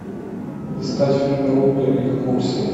искать фильм рудо и курси